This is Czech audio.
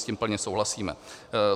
S tím plně souhlasíme.